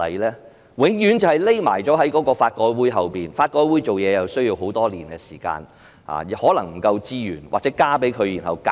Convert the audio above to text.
政府永遠躲在法改會後，而法改會又需要很多年的時間來進行它的工作。